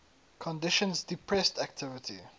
conditions depressed activity